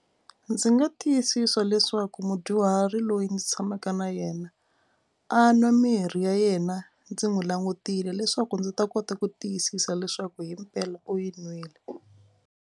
Ndzi nga tiyisisa leswaku mudyuhari loyi ndzi tshamaka na yena a nwa mirhi ya yena ndzi n'wi langutile leswaku ndzi ta kota ku tiyisisa leswaku himpela u yi nwile.